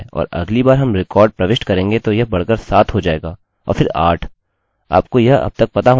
अगला मैं आपको दिखाऊँगा कि मैं कैसे अपनी जन्म तिथि बदलूँ क्योंकि मैंने एक गलती कर दी थी